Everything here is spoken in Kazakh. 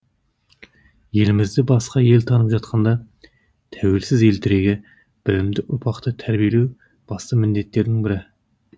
елімізді басқа ел танып жатқанда тәуелсіз ел тірегі білімді ұрпақты тәрбиелеу басты міндеттердің бірі